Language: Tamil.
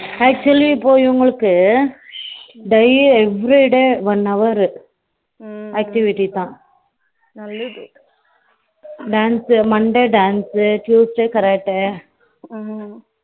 Actually இப்போ இவங்களுக்கு daliy every day one hour activities ah hmm dance Monday dance Tuesday Karate ம்ம